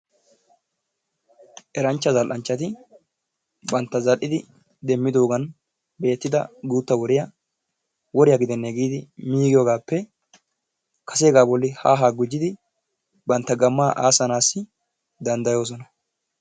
Eranchcha zal"anchati bantta zal"idi demmidoogan beettida guutta woriyaa woriyaa gidenee giidi miigiyoogappe kase bolli haa haa gujjidi bantta gammaa assaanasi dandayoosona.